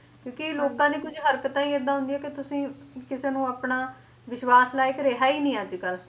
ਕਿਉਂਕਿ ਲੋਕਾਂ ਦੀ ਕੁਝ ਹਰਕਤਾਂ ਹੀ ਇਹਦਾ ਹੁੰਦੀਆਂ ਕੇ ਤੁਸੀ ਕਿਸੇ ਨੂੰ ਆਪਣਾ ਵਿਸ਼ਵਾਸ ਲਾਇਕ ਰਿਹਾ ਹੀ ਨਹੀਂ ਅੱਜ ਕੱਲ